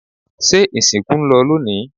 se ìsìnkú ń lọ lónìí?